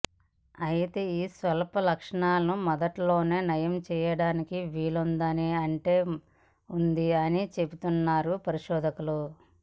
అయితే ఈ స్వల్ప లక్షణాలను మొదట్లోనే నయం చేయడానికి వీలుందా అంటే ఉంది అని చెబుతున్నారు పరిశోధకులు